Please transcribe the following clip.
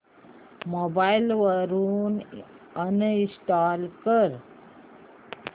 mobile वरून uninstall कर